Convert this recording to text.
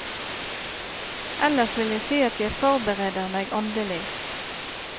Ellers vil jeg si at jeg forbereder meg åndelig.